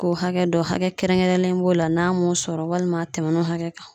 K'o hakɛ dɔ hakɛ kɛrɛnkɛrɛnlen b'o la n'a m'o sɔrɔ walima a tɛmɛn'o hakɛ kan